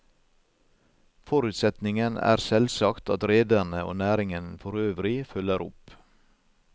Forutsetningen er selvsagt at rederne og næringen forøvrig følger opp.